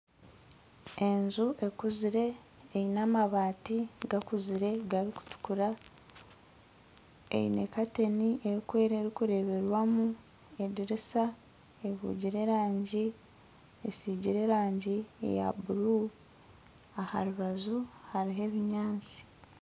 Enju ekuzire eine amabaati gakuzire garikutukura Eine kantiini erikwera erikureeberwamu edirisa ehugire erangi esiigire erangi eya bururu aha rubaju hariho ebinyatsi